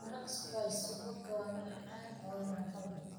Maraq squash subagga waa macaan oo raaxo leh.